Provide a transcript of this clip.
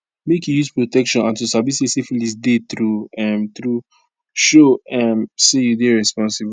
make you use protection and to sabi say syphilis dey true um true show um say you dey responsible